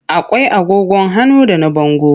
Akwai agogon hannu da na bango.